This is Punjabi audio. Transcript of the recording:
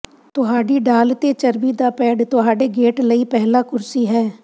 ਤੁਹਾਡੀ ਢਾਲ ਤੇ ਚਰਬੀ ਦਾ ਪੈਡ ਤੁਹਾਡੇ ਗੇਟ ਲਈ ਪਹਿਲਾ ਕੁਰਸੀ ਹੈ